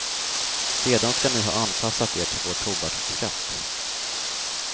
Sedan ska ni ha anpassat er till vår tobaksskatt.